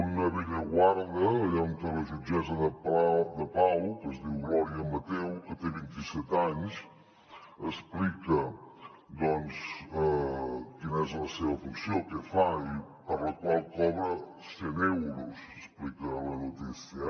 un a bellaguarda allà on la jutgessa de pau que es diu glòria mateu que té vint i set anys explica quina és la seva funció què fa i per la qual cobra cent euros explica la notícia